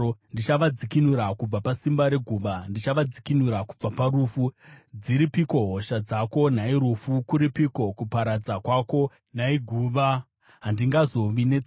“Ndichavadzikinura kubva pasimba reguva; ndichavadzikinura kubva parufu. Dziripiko hosha dzako, nhai rufu? Kuripiko kuparadza kwako, nhai guva? “Handingazovi netsitsi,